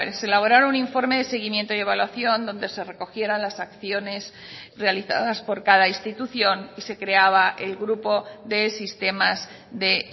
se elaborara un informe de seguimiento y evaluación donde se recogieran las acciones realizadas por cada institución y se creaba el grupo de sistemas de